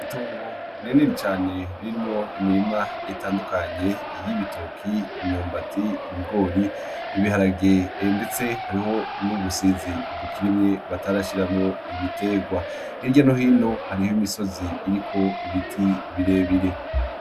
Itongo rinini cane ririmwo imirima itandukanye; iy'ibitoke, imyumbati ,ibigori, ibiharage ndetse harimwo n'ubusizi batarashirwo ibiterwa hirya no hino harih'imisozi iriko ibiti birebire.